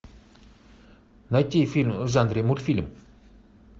найти фильм в жанре мультфильм